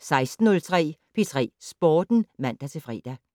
16:03: P3 Sporten (man-fre)